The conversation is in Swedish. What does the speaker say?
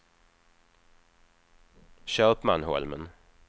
Köpmanholmen